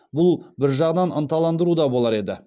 бұл бір жағынан ынталандыру да болар еді